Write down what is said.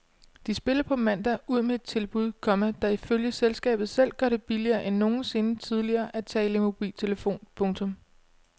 De spiller på mandag ud med et tilbud, komma der ifølge selskabet selv gør det billigere end nogensinde tidligere at tale i mobiltelefon. punktum